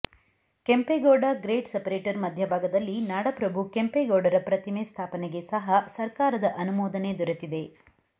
Kempegowda grade separator ಮಧ್ಯಭಾಗದಲ್ಲಿ ನಾಡಪ್ರಭು ಕೆಂಪೇಗೌಡರ ಪ್ರತಿಮೆ ಸ್ಥಾಪನೆಗೆ ಸಹ ಸರ್ಕಾರದ ಅನುಮೋದನೆ ದೊರೆತಿದೆ